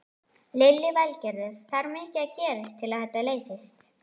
Lillý Valgerður: Þarf mikið að gerast til að þetta leysist?